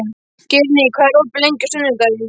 Geirný, hvað er opið lengi á sunnudaginn?